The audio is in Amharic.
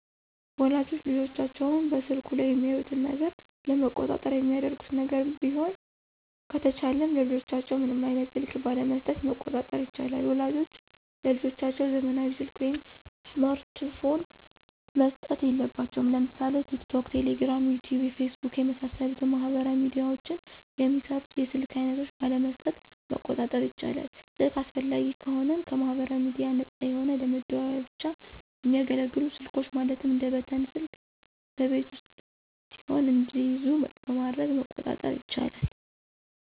ወላጆች ልጆቻቸውን በስልኩ ላይ የሚያዩትን ነገር ለመቆጣጠር የሚያደርጉት ነገር ቢሆን ከተቻለም ለልጆቻቸው ምንም አይነት ስልክ ባለመሥጠት መቆጣጠር ይቻላል። ወላጆች ለልጆቻቸው ዘመናዊ ሰልክ ወይም ስማርት ፖን መስጠት የለባቸውም። ለምሳሌ ቲክቶክ፣ ቴሌግራም፣ ዩቲዩብ፣ ፌስቡክ የመሣሠሉትን ማህበራዊ ሚድያዎችን የሚሰሩ የስልክ አይነቶች ባለመስጠት መቆጣጠር ይቻላል። ስልክ አስፈላጊ ከሆነም ከማህበራዊ ሚድያዎች ነፃ የሆነ ለመደዋወያ ብቻ የሚያገለግሉ ስልኮች ማለትም እንደ በተን ስልክ በቤት ውስጥ ሲሆኑ እንዲይዙ በማድረግ መቆጣጠር ይቻላል።